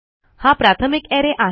हा प्राथमिक अरे आहे